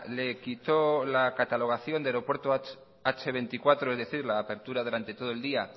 le quitó la catalogación de aeropuerto hache veinticuatro es decir la apertura durante todo el día